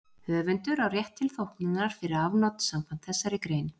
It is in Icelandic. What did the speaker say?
Höfundur á rétt til þóknunar fyrir afnot samkvæmt þessari grein.